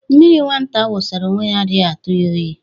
Mmiri nwata kwụsara onwe ya adaghị atụ ya oyi